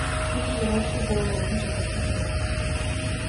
фильм горячие головы хочу посмотреть